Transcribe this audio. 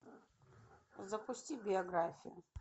запусти биографию